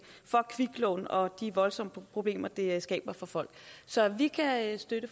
af kviklån og de voldsomme problemer det skaber for folk så vi kan støtte